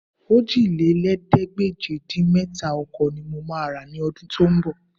Òjìlélẹ́ẹ̀ẹ́dégbèje-dín-mẹ́ta ọkọ̀ ní mo máa rà ní ọdún tó ń bọ̀